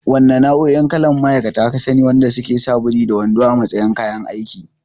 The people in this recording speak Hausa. Wanna nau'o'in kalan ma'aikata ka sani wanda suke sa buri da wando a matsayin kayan aiki?